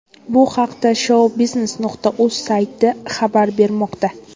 Bu haqda shou-biznes.uz sayti xabar bermoqda.